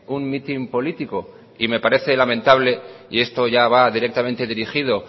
un mitin político y me parece lamentable y esto ya va directamente dirigido